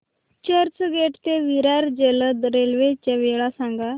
चर्चगेट ते विरार जलद रेल्वे च्या वेळा सांगा